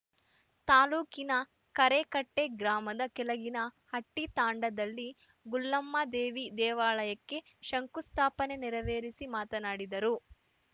ತಾಲೂಕಿನ ಕರೇಕಟ್ಟೆಗ್ರಾಮದ ಕೆಳಗಿನ ಹಟ್ಟಿತಾಂಡದಲ್ಲಿ ಗುಳ್ಳಮ್ಮದೇವಿ ದೇವಾಲಯಕ್ಕೆ ಶಂಕುಸ್ಥಾಪನೆ ನೆರವೇರಿಸಿ ಮಾತನಾಡಿದರು